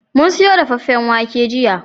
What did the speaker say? Mun siyo dafaffen wake jiya